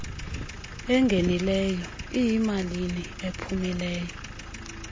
engenileyo iyimalini ephumileyo